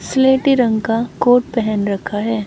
स्लेटी रंग का कोट पहन रखा है।